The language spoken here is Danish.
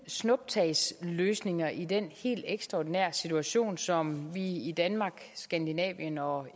snuptagsløsninger i den helt ekstraordinære situation som vi i danmark skandinavien og